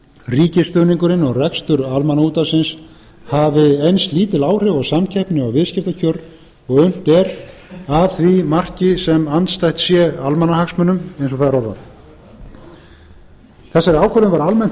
ríkisstuðningurinn og rekstur almannaútvarpsins hafi eins lítil áhrif á samkeppni og viðskiptakjör og unnt er að því marki sem andstætt sé almannahagsmunum eins og það er orðað þessari ákvörðun var almennt